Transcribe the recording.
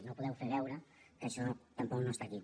no podeu fer veure que això tampoc no està aquí